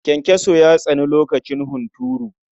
Kyankyaso ya tsani lokacin hunturu.